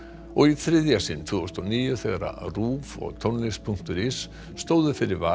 og í þriðja sinn tvö þúsund og níu þegar RÚV og tónlist punktur is stóðu fyrir vali